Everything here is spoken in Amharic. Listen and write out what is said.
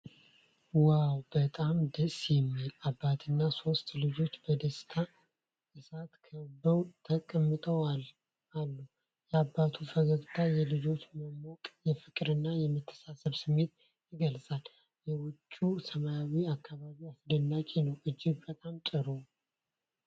ዋው! በጣም ደስ የሚል! አባትና ሶስት ልጆች በደስታ እሳት ከበው ተቀምጠው አሉ። የአባቱ ፈገግታና የልጆቹ መሞቅ የፍቅርና የመተሳሰብ ስሜት ይገልጻል፤ የውጭው ሰማያዊ አከባቢ አስደናቂ ነው። እጅግ በጣም ጥሩ!